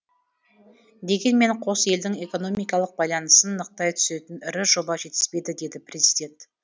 дегенмен қос елдің экономикалық байланысын нықтай түсетін ірі жоба жетіспейді деді президент